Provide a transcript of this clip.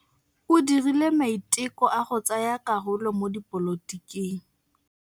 O dirile maitekô a go tsaya karolo mo dipolotiking.